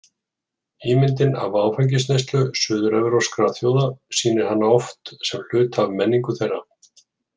Ímyndin af áfengisneyslu suður-evrópskra þjóða sýnir hana oft sem hluta af menningu þeirra.